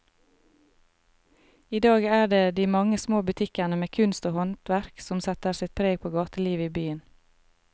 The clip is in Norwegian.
I dag er det de mange små butikkene med kunst og håndverk som setter sitt preg på gatelivet i byen.